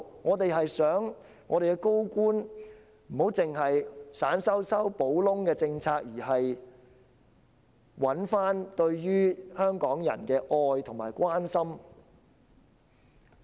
我們只是希望高官不要只是推出小修小補的政策，並找回對香港人的愛和關心。